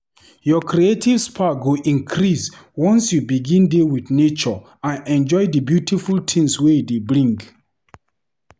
Your creative spark go increase once you begin dey with nature and enjoy di beautiful things wey e dey bring.